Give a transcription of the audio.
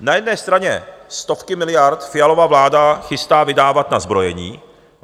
Na jedné straně stovky miliard Fialova vláda chystá vydávat na zbrojení.